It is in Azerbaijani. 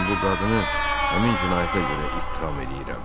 Mən bu qadını həmin cinayətə görə ittiham eləyirəm.